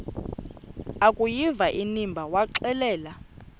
akuyiva inimba waxelela